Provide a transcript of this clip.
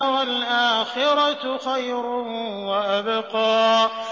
وَالْآخِرَةُ خَيْرٌ وَأَبْقَىٰ